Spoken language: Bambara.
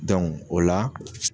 Dɔnku o la